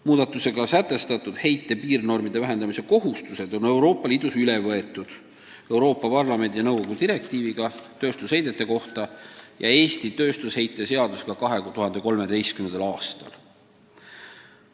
Muudatusega sätestatud heite piirnormide vähendamise kohustused on Euroopa Liidus üle võetud Euroopa Parlamendi ja nõukogu direktiiviga tööstusheidete kohta ja Eesti tööstusheite seadusega 2013. aastal.